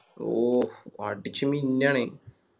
ഉം അടിച്ച് മിന്നാണെ